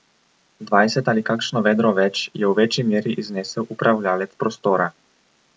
Dvajset ali kakšno vedro več je v večji meri iznesel upravljalec prostora.